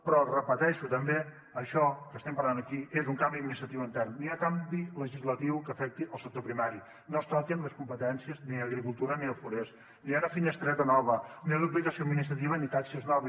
però ho repeteixo també això que estem parlant aquí és un canvi administratiu intern no hi ha canvi legislatiu que afecti el sector primari no es toquen les competències ni d’agricultura ni de forest no hi ha una finestreta nova no hi ha duplicació administrativa ni taxes noves